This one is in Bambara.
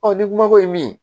ni kumako ye min ye